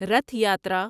Rath Yatra